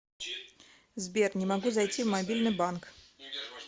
сбер не могу зайти в мобильный банк